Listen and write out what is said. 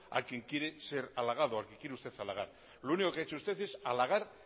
a quien quiere ser halagado a quien quiere usted halagar lo único que ha hecho usted es halagar